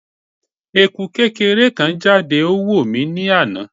Eku kekere kan jade o wo mi ni ana